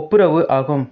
ஒப்புரு ஆகும்